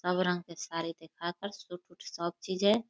सब रंग के साड़ी दिखाकर सूट सब चीज है।